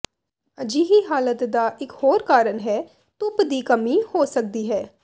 ਅਜਿਹੀ ਹਾਲਤ ਦਾ ਇਕ ਹੋਰ ਕਾਰਨ ਹੈ ਧੁੱਪ ਦੀ ਕਮੀ ਹੋ ਸਕਦੀ ਹੈ